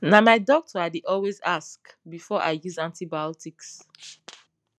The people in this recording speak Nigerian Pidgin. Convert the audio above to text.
na my doctor i dey always ask before i use antibiotics